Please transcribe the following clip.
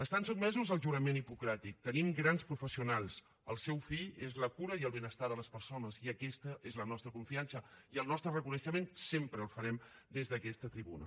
estan sotmesos al jurament hipocràtic en tenim grans professionals el seu fi és la cura i el benestar de les persones i aquesta és la nostra confiança i el nostre reconeixement sempre el farem des d’aquesta tribuna